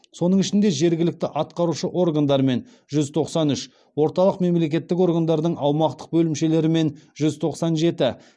соның ішінде жергілікті атқарушы органдармен жүз тоқсан үш орталық мемлекеттік органдардың аумақтық бөлімшелерімен жүз тоқсан жеті